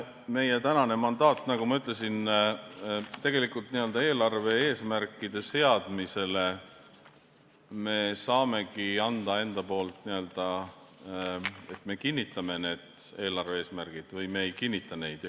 Meie tänane mandaat, nagu ma ütlesin, on see, et tegelikult n-ö eelarve eesmärkide seadmise kohta me saamegi öelda enda poolt, et me kinnitame need eelarve eesmärgid või me ei kinnita neid.